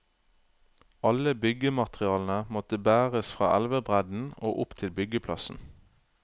Alle byggematerialene måtte bæres fra elvebredden og opp til byggeplassen.